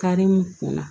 Karimu kun na